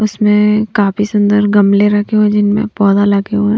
उसमें काफी सुंदर गमले रखे हुए जिनमें पौधा लगे हुए हैं।